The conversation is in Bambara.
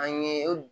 An ye